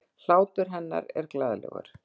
Hlátur hennar er glaðlegur.